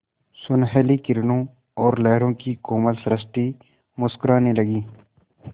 सुनहली किरणों और लहरों की कोमल सृष्टि मुस्कराने लगी